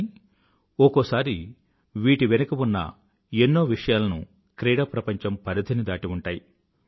కానీ ఒకోసారి వీటి వెనుక ఉన్న ఎన్నో విషయాలను క్రీడాప్రపంచం పరిధి ని దాటి ఉంటాయి